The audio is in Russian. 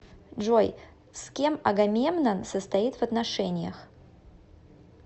джой с кем агамемнон состоит в отношениях